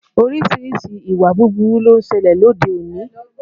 Orísìírísìí ìwà búburú ló ń ṣẹlẹ̀ lóde òní